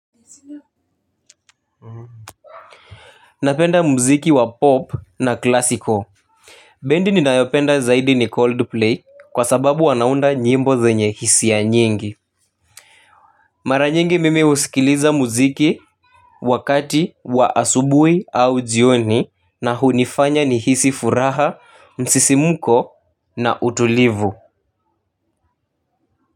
Napenda muziki wa pop na klasiko. Bendi ninayopenda zaidi ni cold play kwa sababu wanaunda nyimbo zenye hisia nyingi. Mara nyingi mimi husikiliza muziki wakati wa asubui au jioni na hunifanya ni hisi furaha, msisimuko na utulivu.